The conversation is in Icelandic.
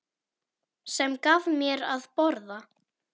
Sem gaf mér að borða.